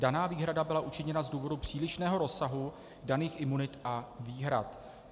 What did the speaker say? Daná výhrada byla učiněna z důvodu přílišného rozsahu daných imunit a výhrad.